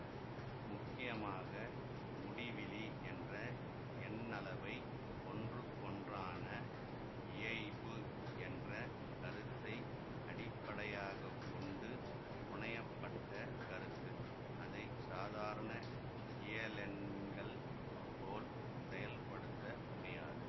முக்கியமாக முடிவிலி என்ற எண்ணளவை ஒன்றுக்கொன்றான இயைபு என்ற கருத்தை அடிப்படையாகக்கொண்டு புனைய பட்ட கருத்து அதை சாதாரண இயலெண்கள் போல் செயல்படுத்தமுடியாது